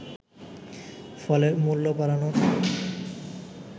ফলে মূল্য বাড়ানোর